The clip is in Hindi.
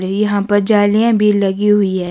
ये यहां पर जालियां भी लगी हुई है।